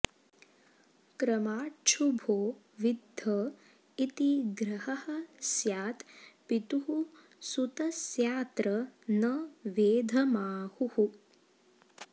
क्रमाच्छुभो विद्ध इति ग्रहः स्यात् पितुः सुतस्यात्र न वेधमाहुः